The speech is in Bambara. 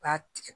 U b'a tigɛ